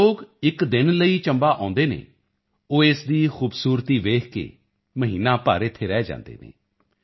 ਯਾਨੀ ਜੋ ਲੋਕ ਇੱਕ ਦਿਨ ਲਈ ਚੰਬਾ ਆਉਦੇ ਹਨ ਉਹ ਇਸ ਦੀ ਖੂਬਸੂਰਤੀ ਵੇਖ ਕੇ ਮਹੀਨਾ ਭਰ ਇੱਥੇ ਰਹਿ ਜਾਂਦੇ ਹਨ